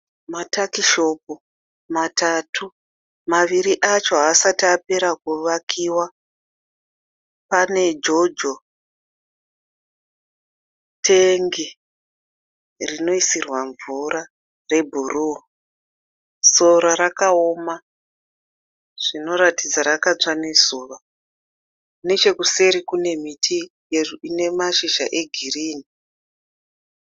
Matakishopu matatu, maviri acho haasati apera kuvakiwa. Pane Jojo teki rinoisirwa mvura rebhuru. Sora rakaoma zvinoratidza rakatsva nezuva. Nechekuseri kune miti ine mashizha egirinhi.